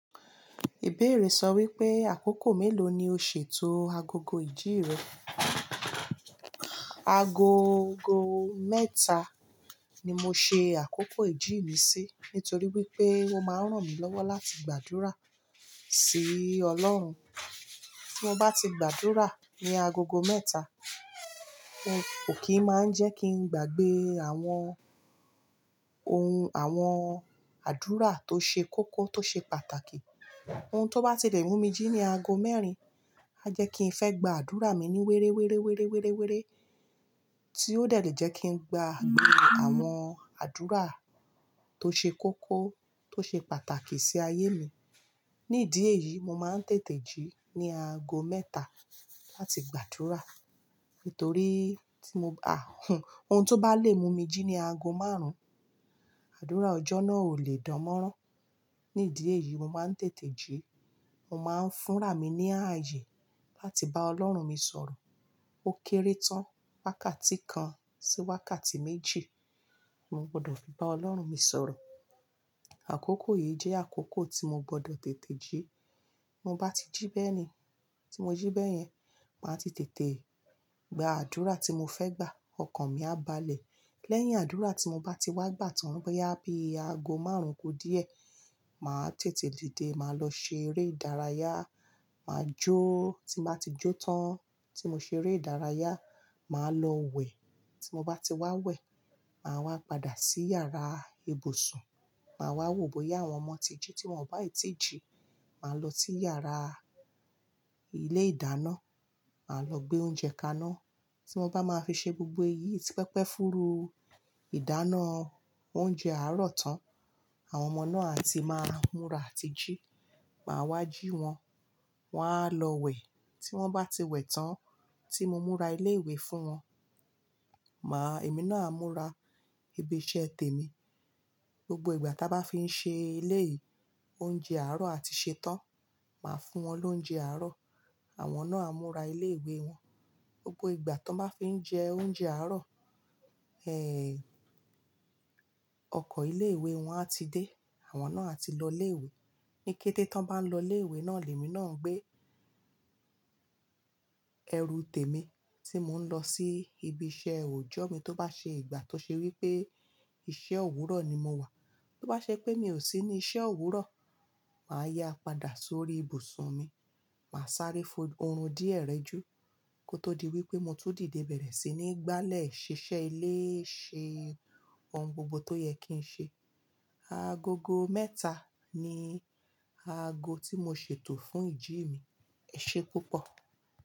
Ìbéèrè sọ wípé àkókò mélòó ni o ṣètò agogo ìjì rẹ. Agogo mẹ́ta ni mo ṣe àkókò ìjì mi sí nítorí wípé ó máa ń ràn mí lọ́wọ́ láti gbàdúrà sí Ọlọ́run. Tí mo bá ti gbàdúrà ní agogo mẹ́ta, ó kì í máa ń jẹ́ kí n gbàgbé àwọn ohun àwọn àdúrà tó ṣe kókó tó ṣe pàtàkì. Ohun tó bá ti lè mú mi jí ní ago mẹ́rin, a jẹ́ kí ń fẹ́ gba àdúrà mi ní wéré, wéré, wéré, wéré, wéré tí ó dẹ̀ lè jẹ́ kí n gbagbe àwọn àdúrà tó ṣe kókó tó ṣe pàtàkì sí ayé mi. Ní ìdí èyí mo máa ń tètè jí ní ago mẹ́ta láti gbàdúrà. Nítorí tí mo àhún, ohun tó bá lè mú mi jí ní ago márùn-ún, àdúrà ọjọ́ náà ò lè dánmọ́rán. Ní ìdí èyí mo máa ń tètè jí. Ó máa ń fúnra mi ní ààyè láti bá Ọlọ́run mi sọ̀rọ̀. Ó kéré tán wákàtí kan sí wákàtí méjì, mo gbọdọ̀ fi bá Ọlọ́run mi sọ̀rọ̀. Àkókò yìí jẹ́ àkókò tí mo gbọdọ̀ tètè jí. Mo bá ti jí bẹ́ẹ̀ ni, tí mo jí bẹ́ẹ̀ yẹn, màá ti tètè gba àdúrà tí mo fẹ́ gbà. Ọkàn mi á balẹ̀. Lẹ́yìn àdúrà tí mo bá ti wá gbà tan boya bí ago márùn-ún ku díẹ̀, màá tètè dìde, màá lọ ṣe eré ìdárayá, màá jó. Tí mo bá ti jó tán tí mo ṣe eré ìdárayá, màá lọ wẹ̀. Tí mo bá ti wá wẹ̀, màá wá padà sí yàrá ibùsùn, màá wá wò bóyá àwọn ọmọ ti jí tí wọ́n ò bá ì tí jí, màá lọ sí yàrá ilé ìdáná, màá lọ gbé oúnjẹ kaná tí wọ́n bá máa fi ṣe gbogbo èyí tí pẹpẹ fúru. Ìdáná oúnjẹ àárọ̀ tán, àwọn ọmọ náà a ti máa ń múra àti jí. Màá wá jí wọn, wọn á lọ wẹ̀. Tí wọ́n bá ti wẹ̀ tán tí mo múra ilé ìwé fún wọn, màá, èmi náà a múra ibi iṣẹ́ tèmi. Gbogbo ìgbà tí a bá fi ń ṣe ilé oúnjẹ àárọ̀ àti ṣẹ tán, màá fún wọn lóúnjẹ àárọ̀. Àwọn náà a múra ilé ìwé wọn. Gbogbo ìgbà tí wọ́n bá fi ń jẹ oúnjẹ àárọ̀, ọkọ̀ ilé ìwé wọn a ti dé, àwọn náà a ti lọ ilé ìwé. Ní kété tí wọ́n bá ń lọ ilé ìwé náà, èmi náà ń gbé ẹrù tèmi tí mò ń lọ sí ibi iṣẹ́ òòjọ́ mi tó bá ṣe ìgbà tó ṣe wípé iṣẹ́ òwúrọ̀ ni mo wà. Tó bá ṣe pé mi ò sí ní iṣẹ́ òwúrọ̀, màá yá padà sórí ibùsùn mi, màá sáré fo orun díẹ̀ rẹ ju kó tó di wípé mo tún dìde bẹ̀rẹ̀ sí ní gbálẹ̀ ṣiṣẹ́ ilé ṣe ohun gbogbo tó yẹ kí ń ṣe. Agogo mẹ́ta ni ago tí mo ṣètò fún ìjì mi. Ẹ ṣé púpọ̀.